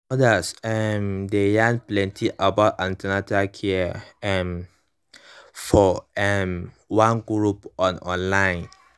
mothers um dey yarn plenty about an ten atal care um for um one group on online